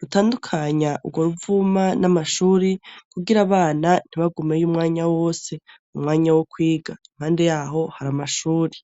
rutandukanya urwo ruvuma n'amashuri kugira abana ntibagumeyo umwanya wose mu mwanya wo kwiga impande yaho hari amashuri.